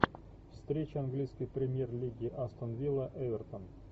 встреча английской премьер лиги астон вилла эвертон